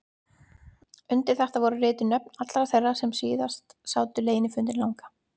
Undir þetta voru rituð nöfn allra þeirra sem síðast sátu leynifundinn langa.